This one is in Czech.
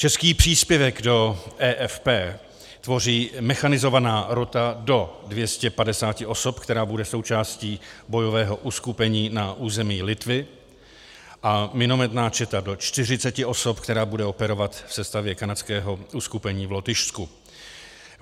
Český příspěvek do EFP tvoří mechanizovaná rota do 250 osob, která bude součástí bojového uskupení na území Litvy, a minometná četa do 40 osob, která bude operovat v sestavě kanadského uskupení v Lotyšsku.